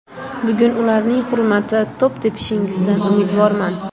Bugun ularning hurmati to‘p tepishingizdan umidvorman!